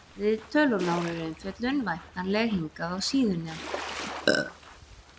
Viðtöl og nánari umfjöllun væntanleg hingað á síðuna.